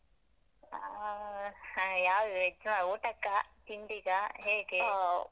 ಆ ಯಾವ್ದ್ veg ಆ ಊಟಕ್ಕಾ? ತಿಂಡಿಗಾ?